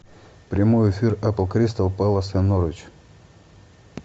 прямой эфир апл кристал пэлас и норвич